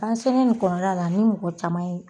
An selen nin kɔnɔla la ani mɔgɔ caman ye